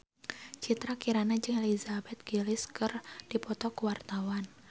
Citra Kirana jeung Elizabeth Gillies keur dipoto ku wartawan